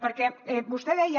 perquè vostè deia